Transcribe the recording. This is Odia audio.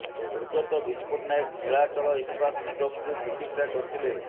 ସ୍ୱର୍ଗତ ବିଜୁ ପଟ୍ଟନାୟକ ନୀଳାଚଳ ଇସ୍ପାତ ନିଗମକୁ ପ୍ରତିଷ୍ଠା କରିଥିଲେ